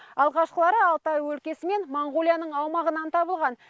алғашқылары алтай өлкесі мен моңғолияның аумағынан табылған